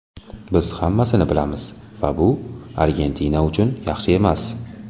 Biz hammasini bilamiz va bu Argentina uchun yaxshi emas.